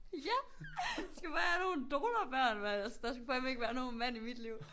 Ja! Skal bare have nogle donorbørn mand altså der skulle fandme ikke være nogen mand i mit liv